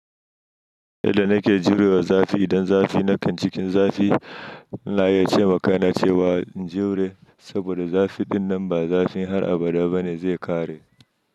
Yadda nake jurewa zafi, idan zafi na kan cikin zafi na iya cewa ma kaina cewa in jure saboda zafi ɗinnan ba zafin har abada bane zai ƙare.